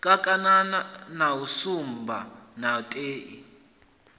kakatana na shumba na tendai